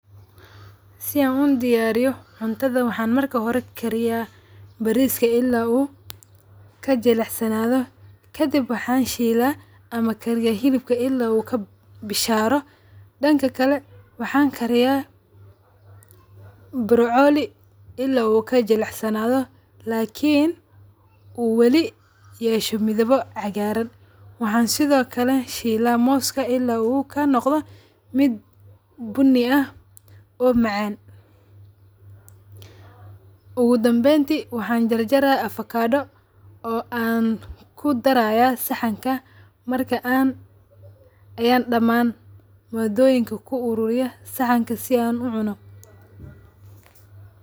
Si aan udiyariyo cuntada waxa marka hore an kariya bariska ila u kajilicsanadho kadib waxan shila ama kariya xilibka ila u bisharo danka kale waxan kariya burcoli ila u kajilecsanadho lakiin u wali yeesho madhibo cagaran waxan sidho kale an shiila mooska ila u naqdo mid buuni ah o macaan ugu dambenti waxan jarajar avocado oo an kudaraya saxanka marka an ayan damaan madoyinka ku ururiya saxanka si an u cuuno.